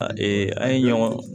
A an ye ɲɔgɔn